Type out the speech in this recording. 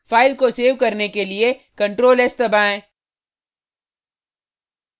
file को save करने के लिए ctrl+s दबाएँ